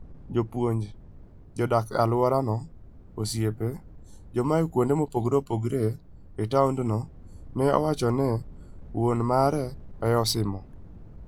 Jopuonj, joma odak e alworano, osiepe, ji moa kuonde mopogore opogore e taondno", ne owacho ne wuon mare e simo.